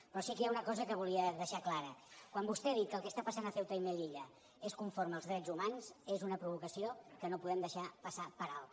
però sí que hi ha una cosa que volia deixar clara quan vostè ha dit que el que està passant a ceuta i melilla és conforme als drets humans és una provocació que no podem deixar passar per alt